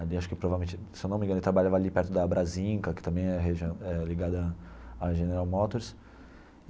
Ali acho que provavelmente se eu não me engano, ele trabalhava ali perto da Brasinca, que também é regi é ligada à General Motors.